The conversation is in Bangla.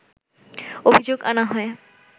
অভিযোগ আনা হয়